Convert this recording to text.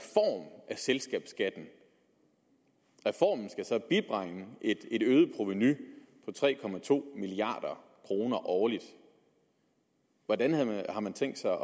selskabsskatten reformen skal så bibringe et øget provenu på tre milliard kroner årligt hvordan har man tænkt sig